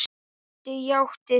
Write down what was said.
Doddi játti því.